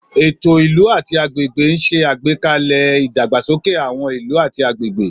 Ètò ìlú àti agbègbè ń ṣe àgbékalẹ̀ ìdàgbàsókè àwọn ìlú àti agbègbè.